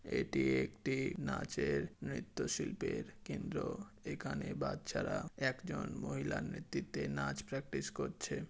এটি একটি নাচের নৃত্য শিল্পের কেন্দ্র। এখানে বাচ্চারা একজন মহিলার নেতৃত্বে নাচ প্র্যাকটিস করছে।